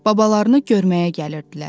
Babalarını görməyə gəlirdilər.